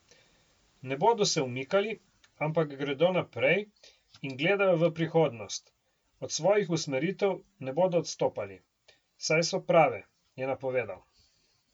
Ne bodo se umikali, ampak gredo naprej in gledajo v prihodnost, od svojih usmeritev ne bodo odstopali, saj so prave, je napovedal.